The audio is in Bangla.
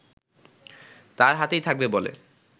তার হাতেই থাকবে বলে